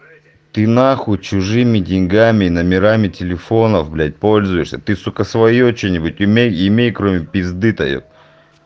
ты нахуй чужими деньгами номерами телефонов блять пользуешься ты сука своё что-нибудь умеей имей кроме пизды то епт